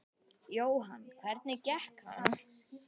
Jóhann: Hvernig gekk hann?